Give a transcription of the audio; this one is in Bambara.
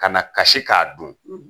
Kana kasi k'a dun